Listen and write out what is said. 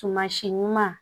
Tumasi ɲuman